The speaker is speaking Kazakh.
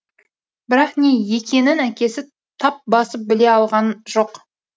бірақ не екенін әкесі тап басып біле алған жоқ